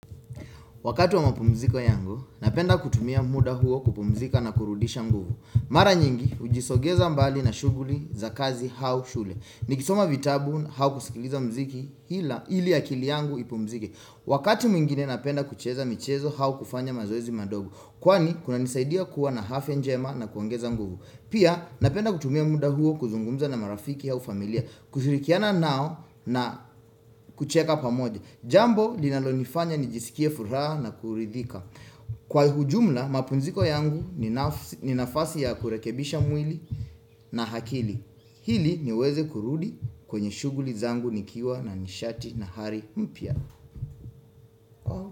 Wakati wa mapumziko yangu, napenda kutumia muda huo kupumzika na kurudisha mguvu. Mara nyingi, hujisogeza mbali na shuguli za kazi au shule. Nikisoma vitabu au kusikiliza mziki ili akili yangu ipumzike. Wakati mwingine napenda kucheza michezo au kufanya mazoezi madogo. Kwani, kunanisaidia kuwa na afya njema na kuongeza nguvu. Pia, napenda kutumia muda huo kuzungumza na marafiki au familia. Kushirikiana nao na kucheka pamoja Jambo linalonifanya nijisikie furaha na kuridhika Kwa ujumla mapumziko yangu ni nafasi ya kurekebisha mwili na hakili iliniweze kurudi kwenye shughuli zangu nikiwa na nishati na hari mpya.